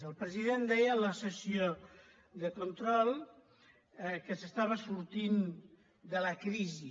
el president deia a la sessió de control que s’estava sortint de la crisi